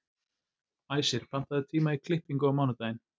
Æsir, pantaðu tíma í klippingu á mánudaginn.